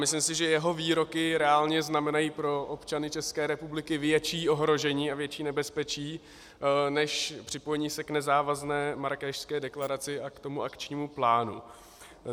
Myslím si, že jeho výroky reálně znamenají pro občany České republiky větší ohrožení a větší nebezpečí než připojení se k nezávazné Marrákešské deklaraci a k tomu akčnímu plánu.